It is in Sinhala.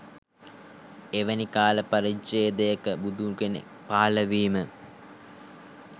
එවැනි කාල පරිච්ඡේදයක බුදු කෙනෙක් පහළවීම